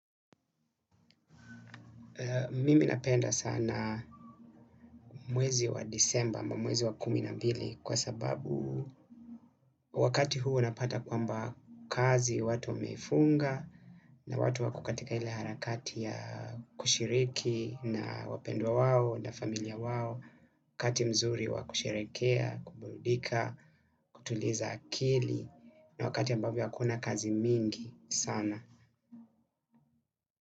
Mimi napenda sana mwezi wa desemba ambao mwezi wa kumi na mbili kwa sababu wakati huo unapata kwamba kazi watu wameifunga na watu wako katika ile harakati ya kushiriki na wapendwa wao na familia wao wakati mzuri wa kusherehekea kuburudika kutuliza akili na wakati ambavyo hakuna kazi nyingi sana.